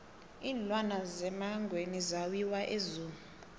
iinlwana zemangweni zawiwa e zoo